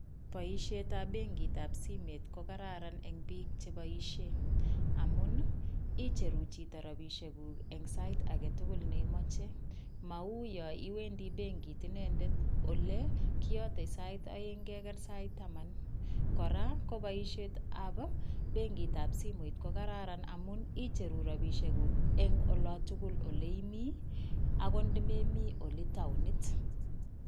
Boisietab benkitab simet ko kararan eng piik che boisie amun ii, icheru chito rabiisiekuk eng sait age tugul ne imoche, mau yo iwendi benkit inendet ole kiyote sait aeng keker sait taman. Kora ko boisietab benkitab simoit ko kararan amun icheru rabiisiekuk eng ola tugul ole imi, akot nde memi ole taonit.